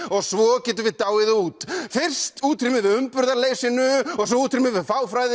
og svo getum við dáið út fyrst útrýmum við umburðarleysinu og svo útrýmum við